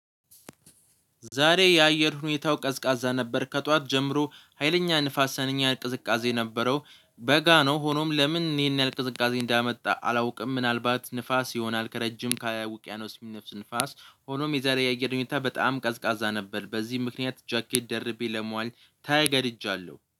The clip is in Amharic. ዛሬ የአየር ሁኔታው ቀዝቃዛ ነበር ከጧት ጀምሮ ሀይለኛ ንፋሰ ሀይለኛ ቅዝቃዜ ነበረው። በጋ ነው ሆኖም ለምን ይሄን ያህል ቅዝቃዜ እንዳመጣ አላውቅም። ምናልባት ንፋስ ይሆናል ከረጅም ከውቅያኖስ የሚነፍስ ንፋስ። ሆኖም የዛሬ የአየር ሁኔታ በጣም ቀዝቃዛ ነበር። በዚህ ምክንያት ጃኬት ደርቤ ለመዋል ተገድጃለሁ